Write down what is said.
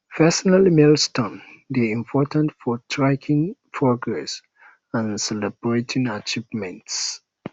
personal um milestones dey important for tracking progress and celebrating achievements